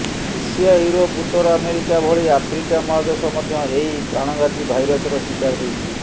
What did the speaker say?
Asia Europe ଉତ୍ତର America ଭଳି Africa ମହାଦେଶ ମଧ୍ୟ ଏହି ପ୍ରାଣଘାତୀ ଭାଇରସର ଶିକାର ହୋଇଛି